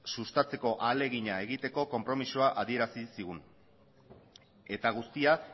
sustatzeko ahalegina egiteko konpromezua adierazi zigun eta guztia